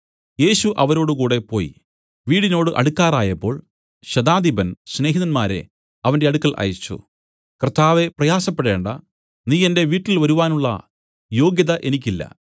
യേശു അവരോടുകൂടെ പോയി വീടിനോട് അടുക്കാറായപ്പോൾ ശതാധിപൻ സ്നേഹിതന്മാരെ അവന്റെ അടുക്കൽ അയച്ചു കർത്താവേ പ്രയാസപ്പെടേണ്ടാ നീ എന്റെ വീട്ടിൽ വരുവാനുള്ള യോഗ്യത എനിക്കില്ല